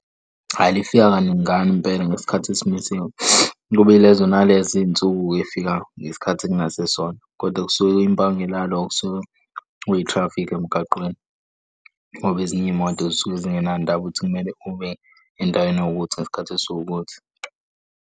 Ayi lifika kaningana impela ngesikhathi esimisiwe. Kube ilezo nalezo iy'nsuku eyifika ngesikhathi ekungasisona kodwa kusuke kwimpangela yalokho okusuka kuyithrafiki emgaqweni. Ngoba ezinye iy'moto zisuke zingenandaba ukuthi kumele ube endaweni ewukuthi ngesikhathi esiwukuthi.